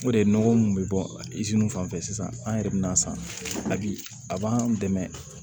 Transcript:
O de ye nɔgɔ mun bɛ bɔ fan fɛ sisan an yɛrɛ bɛ n'a san a bi a b'an dɛmɛ